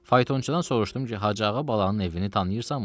Faytonçudan soruşdum ki, Hacıağa balanın evini tanıyırsanmı?